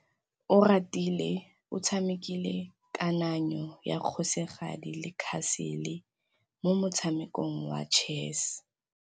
Oratile o tshamekile kananyô ya kgosigadi le khasêlê mo motshamekong wa chess.